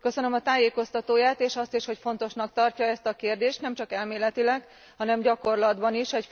Köszönöm a tájékoztatóját, és azt is, hogy fontosnak tarja ezt a kérdést, nem csak elméletileg, hanem gyakorlatban is.